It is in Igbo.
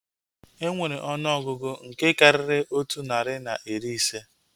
Enwere ọnụọgụgụ nke karịrị otu narị na iri ise